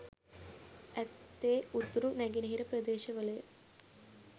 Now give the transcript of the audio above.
ඇත්තේ උතුරු නැගෙනහිර ප්‍රදේශවලය